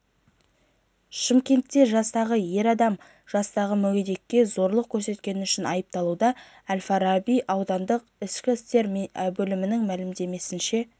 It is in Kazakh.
шымкентте жастағы ер адам жастағы мүгедекке зорлық көрсеткені үшін айыпталуда әл-фараби аудандық ішкі істер бөлімінің мәліметінше